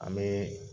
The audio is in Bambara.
An bɛ